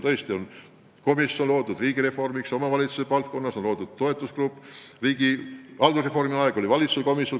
Tõesti, loodi riigireformi komisjon ja omavalitsuse valdkonna toetusgrupp, haldusreformi ajal tegutses valitsuse komisjon.